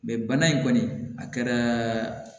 Mɛ bana in kɔni a kɛra